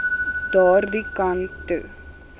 daardie kant toe